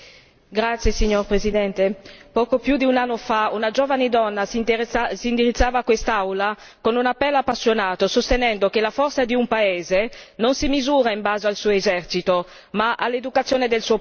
Signor Presidente, onorevoli colleghi, poco più di un anno fa una giovane donna si indirizzava a quest'Aula con un appello appassionato sostenendo che la forza di un paese non si misura in base al suo esercito ma all'educazione del suo popolo.